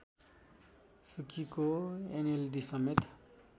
सुकीको एनएलडीसमेत